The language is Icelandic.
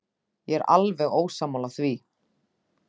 Ég er alveg ósammála því.